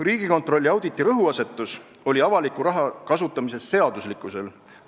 " Riigikontrolli auditi rõhuasetus oli avaliku raha kasutamise seaduslikkuse kontrollimisel.